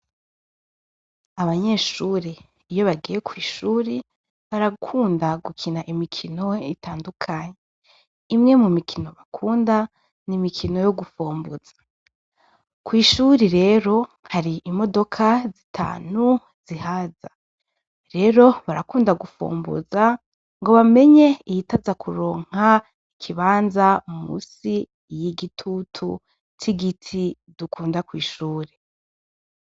Abanyeshure, iyo bagiye kwishuri, barakunda gukina imikino itandukanye; imwe mu mikino bakunda, ni imikino yo gufomboza. Kw'ishuri rero hari imodoka zitanu zihaza; rero barakunda gufomboza, ngo bamenye iyitaza kuronka ikibanza munsi y'igitutu c'igiti dukunda kw'ishuri.